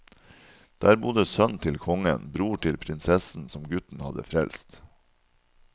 Der bodde sønn til kongen, bror til prinsessen som gutten hadde frelst.